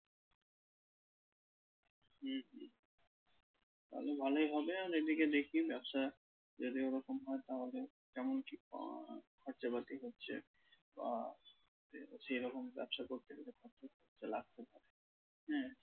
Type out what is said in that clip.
হুম হুম তাহলে ভালই হবে আর এদিকে দেখি ব্যবসা যদি ওরকম হয় তাহলে কেমন কি আহ খরচাপাতি হচ্ছে বা সেরকম ব্যবসা করতে গেলে কত খরচা লাগতে পারে হ্যাঁ